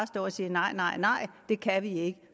stå og sige nej nej nej det kan vi ikke